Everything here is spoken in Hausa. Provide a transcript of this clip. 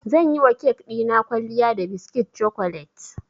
Zan yiwa kek ɗina kwalliya da biskit cokolet.